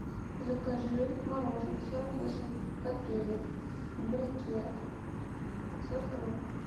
закажи мороженое сорок восемь копеек брикет пятьсот грамм